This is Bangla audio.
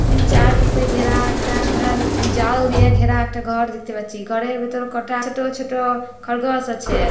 খানে চারপাশে ঘেরা একটা আ জাল দিয়ে ঘেরা একটা ঘর দেখতে পাচ্ছি। ঘরের ভিতরে কটা ছোট ছোট খরগোশ আছে।